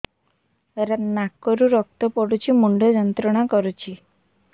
ନାକ ରୁ ରକ୍ତ ପଡ଼ୁଛି ମୁଣ୍ଡ ଯନ୍ତ୍ରଣା କରୁଛି